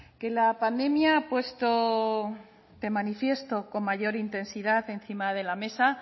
que la pandemia ha puesto de manifiesto con mayor intensidad encima de la mesa